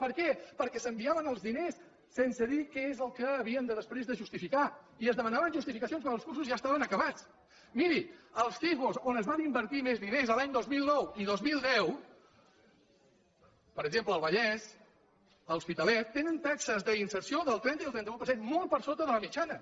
per què perquè s’enviaven els diners sense dir què és el que havien després de justificar i es demanaven justificacions dels cursos i ja estaven acabats miri els cifo on es van invertir més diners l’any dos mil nou i dos mil deu per exemple al vallès a l’hospitalet tenen taxes d’inserció del trenta i el trenta un per cent molt per sota de la mitjana